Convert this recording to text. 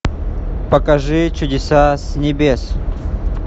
покажи чудеса с небес